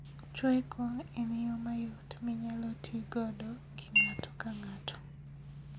Chweko en yoo mayot minyalo tii godo gi ng'ato ka ng'ato